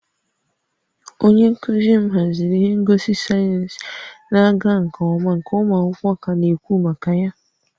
Onye nkuzi m haziri ihe ngosi sayensị na-aga nke ọma nke ụmụ akwụkwọ ka na-ekwu maka ya